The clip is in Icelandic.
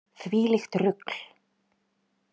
Þvílíkt rugl.